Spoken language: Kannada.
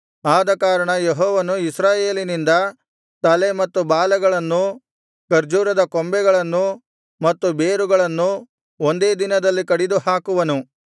ಆದಕಾರಣ ಯೆಹೋವನು ಇಸ್ರಾಯೇಲಿನಿಂದ ತಲೆ ಮತ್ತು ಬಾಲಗಳನ್ನು ಖರ್ಜೂರದ ಕೊಂಬೆಗಳನ್ನು ಮತ್ತು ಬೇರುಗಳನ್ನು ಒಂದೇ ದಿನದಲ್ಲಿ ಕಡಿದು ಹಾಕುವನು